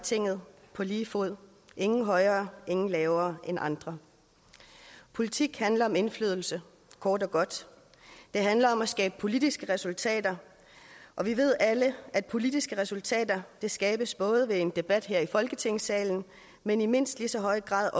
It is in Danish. tinget på lige fod ingen højere ingen lavere end andre politik handler om indflydelse kort og godt det handler om at skabe politiske resultater og vi ved alle at politiske resultater skabes både ved en debat her i folketingssalen men i mindst lige så høj grad